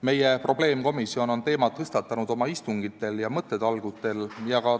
Meie probleemkomisjon on teema oma istungitel ja mõttetalgutel tõstatanud.